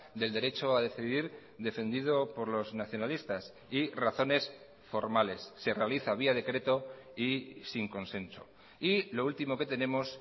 del derecho a decidir defendido por los nacionalistas y razones formales se realiza vía decreto y sin consenso y lo último que tenemos